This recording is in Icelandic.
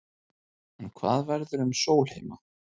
En hvað verður um Sólheima?